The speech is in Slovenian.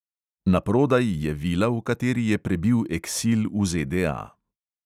Na prodaj je vila, v kateri je prebil eksil v ZDA.